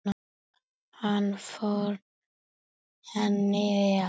Hann fór henni vel.